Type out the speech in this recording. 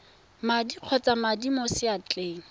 madi kgotsa madi mo seatleng